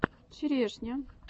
черешня